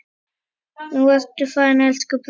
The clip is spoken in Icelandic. Nú ertu farinn, elsku bróðir.